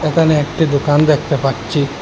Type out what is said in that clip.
এখানে একটি দোকান দেখতে পাচ্ছি।